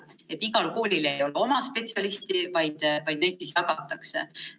Kuna igal koolil ei ole oma spetsialisti, siis neid jagatakse.